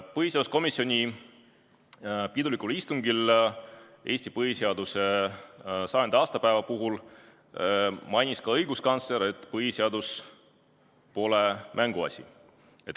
Põhiseaduskomisjoni pidulikul istungil Eesti põhiseaduse 100. aastapäeva puhul mainis ka õiguskantsler, et põhiseadus pole mänguasi.